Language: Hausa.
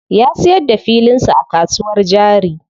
Ya siyar da filin sa a kasuwar jari.